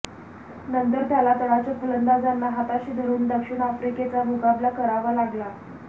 नंतर त्याला तळाच्या फलंदाजांना हाताशी धरून दक्षिण आफ्रिकेचा मुकाबला करावा लागला